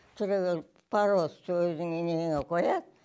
түрегеліп пароз со өзіңнің неңе қояды